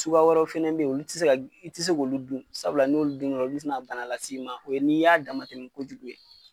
Suguya wɛrɛw fɛnɛ bɛ yen i tɛ se k'olu dun sabula ni y'olu dun dɔrɔn olu bɛ se ka bana lase i ma o ye n'i y'a dama tɛmɛ kojugu ye.